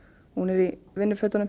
hún er í